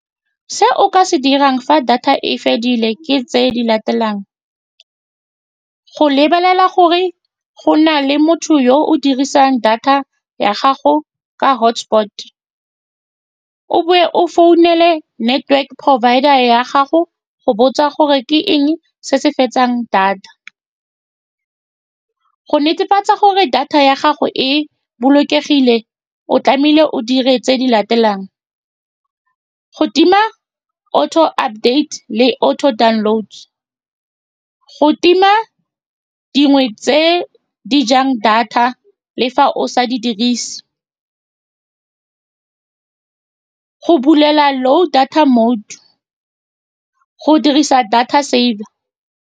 Se o ka se dirang fa data e fedile ke tse di latelang, go lebelela gore go na le motho yo o dirisang data ya gago ka hotspot-te. O bowe o founele network-e provider-ra ya gago go botsa gore ke eng se se fetsang data, go netefatsa gore data ya gago e bolokegile. O tlamehile o dire tse di latelang, go tima auto date le auto download, go tima dingwe tse di jang data le fa o sa di dirise, go bulela low data mode, le go dirisa data saver.